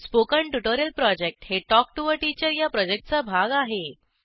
spoken tutorial project हे talk to teacher या प्रॉजेक्टचा भाग आहे